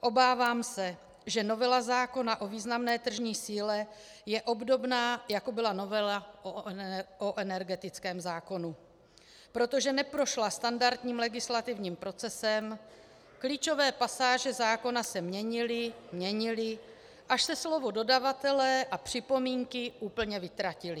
Obávám se, že novela zákona o významné tržní síle je obdobná, jako byla novela o energetickém zákonu, protože neprošla standardním legislativním procesem, klíčové pasáže zákona se měnily, měnily, až se slova dodavatelé a připomínky úplně vytratila.